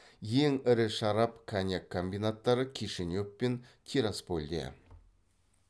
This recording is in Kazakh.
ал ең ірі шарап коньяк комбинаттары кишинев пен тираспольде